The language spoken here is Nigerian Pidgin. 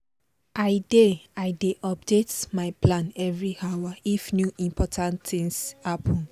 i dey i dey update my plan every hour if new important things happen